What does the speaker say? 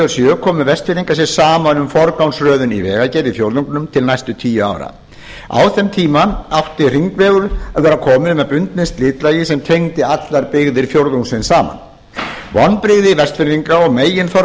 sjö komu vestfirðingar sér saman um forgangsröðun í vegagerð í fjórðungnum til næstu tíu ára á þeim tíma átti hringvegur að vera kominn með bundnu slitlagi sem tengdi allar byggðir fjórðungsins saman vonbrigði vestfirðinga og meginþorra